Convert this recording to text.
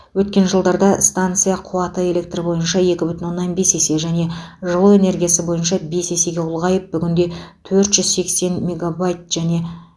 өткен жылдарда станция қуаты электр бойынша екі бүтін оннан бес есе және жылу энергиясы бойынша бес есеге ұлғайып бүгінде төрт жүз сексен мегабайт және